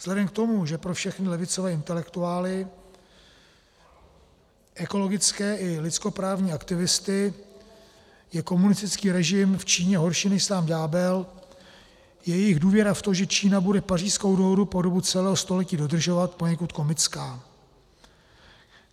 Vzhledem k tomu, že pro všechny levicové intelektuály, ekologické i lidskoprávní aktivisty je komunistický režim v Číně horší než sám ďábel, je jejich důvěra v to, že Čína bude Pařížskou dohodu po dobu celého století dodržovat, poněkud komická.